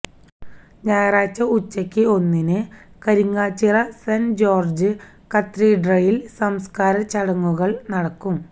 ഞായറാഴ്ച ഉച്ചക്ക് ഒന്നിന് കരിങ്ങാച്ചിറ സെന്റ് ജോര്ജ്ജ് കത്തീഡ്രലില് സംസ്കാര ചടങ്ങുകള് നടക്കും